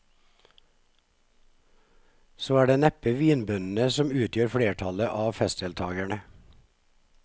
Så er det neppe vinbøndene som utgjør flertallet av festdeltagerne.